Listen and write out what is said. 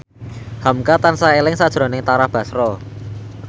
hamka tansah eling sakjroning Tara Basro